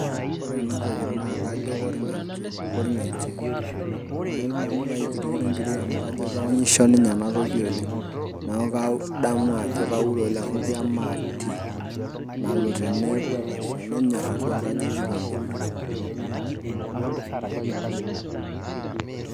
Ore ena toki naa kajo orng'encheri naa kadamu kaipiripiro nkirri amu kajo keonyisho ninye enatoki oleng' neeku kadamu ajo ijio kaure oleng' amu kajo emaati nalo teneeku etasha nenyorr atua nkajijik oleng'.